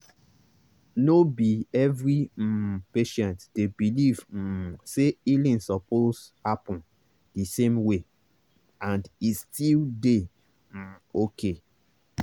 no be every um patient dey believe um say healing suppose happen the same way—and e still dey um okay.